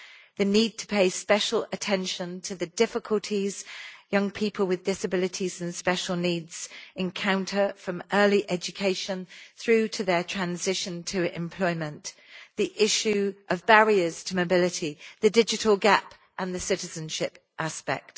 the need to pay special attention to the difficulties young people with disabilities and special needs encounter from early education through to their transition to employment, the issue of barriers to mobility, the digital gap, and the citizenship aspect.